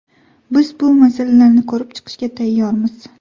Biz bu masalalarni ko‘rib chiqishga tayyormiz.